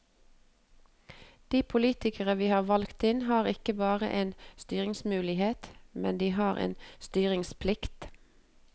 De politikere vi har valgt inn, har ikke bare en styringsmulighet, men de har en styringsplikt.